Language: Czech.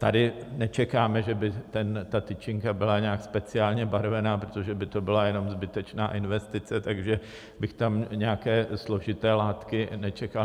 Tady nečekáme, že by ta tyčinka byla nějak speciálně barvena, protože by to byla jenom zbytečná investice, takže bych tam nějaké složité látky nečekal.